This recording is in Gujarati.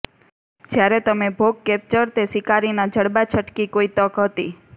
જ્યારે તમે ભોગ કેપ્ચર તે શિકારી ના જડબાં છટકી કોઈ તક હતી